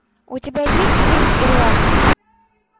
у тебя есть фильм ирландец